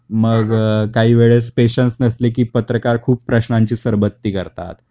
मग अ काही वेळेस पेशंस नसले की पत्रकार खूप प्रश्नांची सरबत्ती करतात